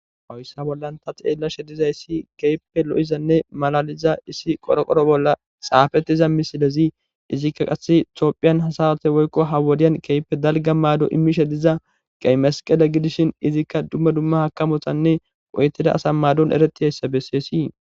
hoyssa bollan ta xeellashe dizayssi keype lo7izanne malaliza issi qoro qoro bolla xaafettiza misilezi izikka qasse toophiyan hasawate woykko ha wodiyan keype dalga maado imishe diza qeymasqele gidishin izikka dumma dumma hakamotanne oytida asa maadon ereti hayssa besseesii